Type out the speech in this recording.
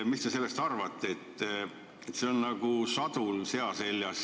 Valitsuse põhjendus on nagu sadul sea seljas.